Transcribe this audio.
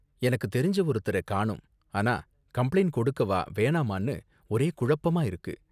எனக்கு தெரிஞ்ச ஒருத்தர காணோம், ஆனா கம்ப்ளைண்ட் கொடுக்கவா வேணாமானு ஒரே குழப்பமா இருக்கு.